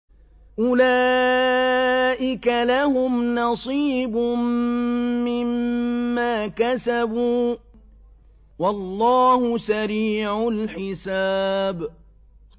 أُولَٰئِكَ لَهُمْ نَصِيبٌ مِّمَّا كَسَبُوا ۚ وَاللَّهُ سَرِيعُ الْحِسَابِ